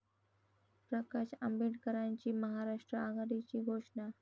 प्रकाश आंबेडकरांची महाराष्ट्र आघाडीची घोषणा